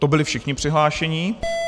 To byli všichni přihlášení.